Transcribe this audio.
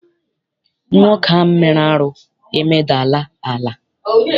Nwoke ahụ mere arụ emedala ala.